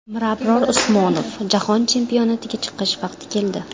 Mirabror Usmonov: Jahon chempionatiga chiqish vaqti keldi.